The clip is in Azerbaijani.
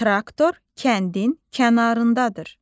Traktor kəndin kənarındadır.